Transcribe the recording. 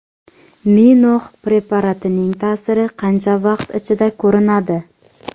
Minox preparatining ta’siri qancha vaqt ichida ko‘rinadi?